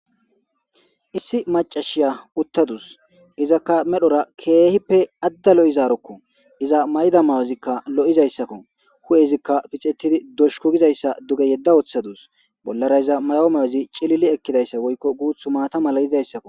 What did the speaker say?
Issi maccasiya uttadus. Izaka medhora keehippe adda lo'izaroko. Iza mayida mayozika lo'izaysako. Hu'ezika pixetidi doshku gizaysa duge yedda woththadus. Bollara iza mayo mayozi maata mala woyko cilili ekizaysako.